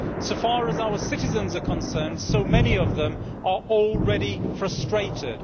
As far as our citizens are concerned, so many of them are already frustrated.